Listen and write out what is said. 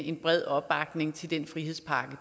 en bred opbakning til den frihedspakke